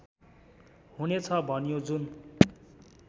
हुनेछ भनियो जुन